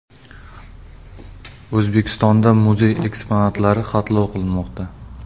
O‘zbekistonda muzey eksponatlari xatlov qilinmoqda.